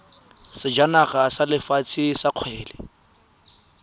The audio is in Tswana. sejana sa lefatshe sa kgwele